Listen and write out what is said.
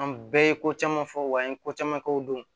An bɛɛ ye ko caman fɔ wa an ye ko caman kɛ u don